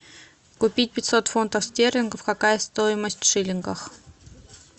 купить пятьсот фунтов стерлингов какая стоимость в шиллингах